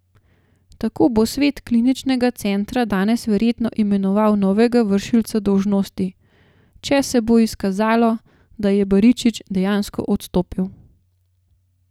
Tako bo svet kliničnega centra danes verjetno imenoval novega vršilca dolžnosti, če se bo izkazalo, da je Baričič dejansko odstopil.